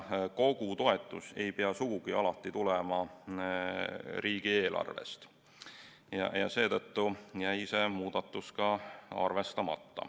Kogu toetus ei pea sugugi alati tulema riigieelarvest ja seetõttu jäi see muudatus ka arvestamata.